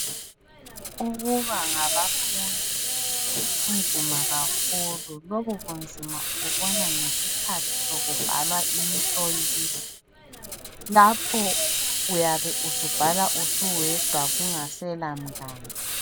Ukuba ngabafundi, kunzima kakhulu. Lobu bunzima ububona ngesikhathi sokubhalwa imihloliso, lapho uyabe usubhala usuwedwa ungasela mngane.